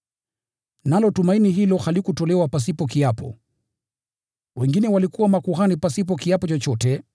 Nalo tumaini hilo halikutolewa pasipo kiapo! Wengine walikuwa makuhani pasipo kiapo chochote,